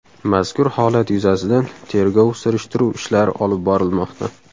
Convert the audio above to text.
Mazkur holat yuzasidan tergov-surishtiruv ishlari olib borilmoqda.